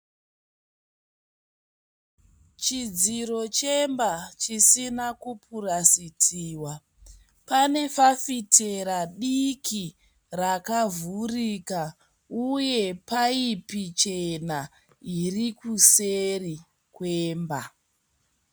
Chidziro chemba chisina kupurasitiwa. Pane fafitera diki rakavhurika uye paipi chena iri kuseri kwemba.